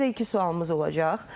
Sizə iki sualımız olacaq.